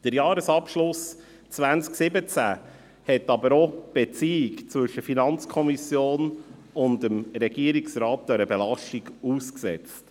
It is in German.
Der Jahresabschluss 2017 setzte aber die Beziehung zwischen der FiKo und dem Regierungsrat einer Belastung aus.